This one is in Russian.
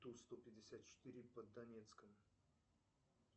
ту сто пятьдесят четыре под донецком